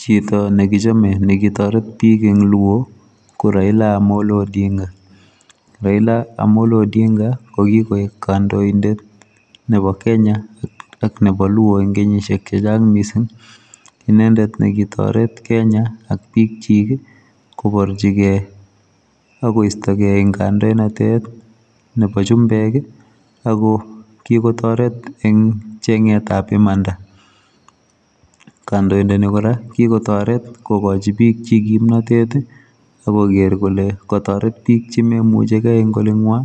Chito nekichame nekitoret bik eng luo ko Raila amolo odinga ,Raila amollo odinga kokikoek kandoindet nebo Kenya ak nebo luo eng kenyishek chechang' mising inendet nekitoret Kenya ak bik chik koborchikei akoistokei eng ngandoinatet nebo chumbek ako kikotoret eng cheng'et ab imanda kandoindani kora kikotaret kokachi bik chik kimnatet akoker kole kotaret bik chememuchekei ngolinywa